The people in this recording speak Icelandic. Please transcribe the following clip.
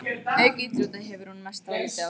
Auk íþrótta hefur hún mest dálæti á tónlist.